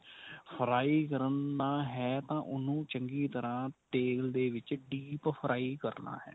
fry ਕਰਨਾ ਹੈ ਤਾਂ ਉਹਨੂੰ ਚੰਗੀ ਤਰ੍ਹਾਂ ਤੇਲ ਦੇ ਵਿੱਚ deep fry ਕਰਨਾ ਹੈ.